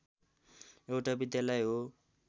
एउटा विद्यालय हो